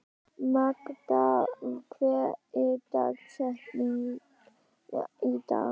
Magda, hver er dagsetningin í dag?